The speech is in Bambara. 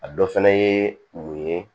A dɔ fana ye mun ye